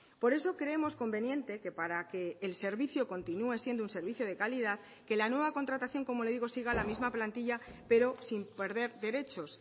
por eso creemos conveniente que para que el servicio continúe siendo un servicio de calidad que la nueva contratación como le digo siga la misma plantilla pero sin perder derechos